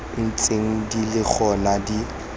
ntseng di le gona di